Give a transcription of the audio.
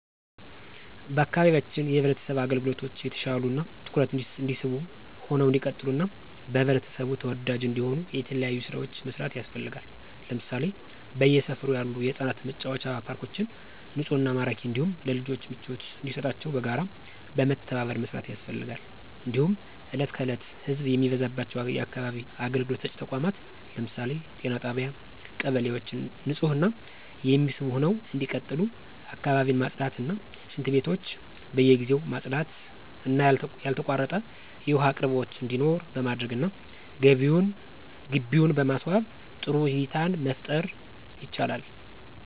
በአካባቢያችን የማህበረሰብ አገልግሎቶች የተሻሉ እና ትኩረት የሚስቡ ሁነው እንዲቀጥሉ እና በህብረተሰቡ ተወዳጅ እንዲሆኑ የተለያዩ ስራዎች መስራት ያስፈልጋል ለምሳሌ በየሰፈሩ ያሉ የህፃናት መጫወቻ ፓርኮችን ንፁህና ማራኪ እንዲሁም ለልጆች ምቾት እንዲሰጣቸው በጋራ በመተባበር መስራት ያስፈልጋል። እንዲሁም እለት ከዕለት ህዘብ የሚበዛባቸው የአካባቢ አገልግሎት ሰጭ ተቋማት ለምሳሌ ጤና ጣቢያ እና ቀበሌዎች ንፁህ እና የሚስቡ ሁነው እንዲቀጥሉ አካባቢን ማፅዳት እና ሽንትቤቶች በየጊዜው ማፅዳት እና ያልተቋረጠ የውሃ አቅርቦት እንዲኖር በማድረግ እና ግቢውን በማስዋብ ጥሩ እይታን መፍጠር ይቻላል።